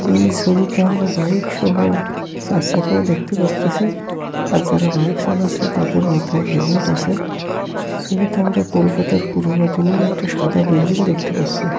এই সবিটা আমরা বাইক সহ সার সাকাও দেখতে পারতাসি । আর যারা বাইক সালাসে তাদের মাথায় হেলমেট আসে সবিতে আমরা কলকাতার পুরনো দিনের একটা সাদা বিল্ডিং দেখতে পাসসি।